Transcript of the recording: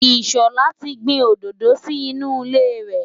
Ìṣọ̀lá ti gbin òdòdó sí inú ilé rẹ̀.